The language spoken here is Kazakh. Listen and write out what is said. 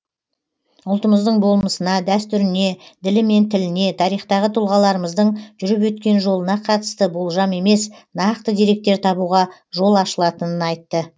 ұлтымыздың болмысына дәстүріне ділі мен тіліне тарихтағы тұлғаларымыздың жүріп өткен жолына қатысты болжам емес нақты деректер табуға жол ашылатынын айтты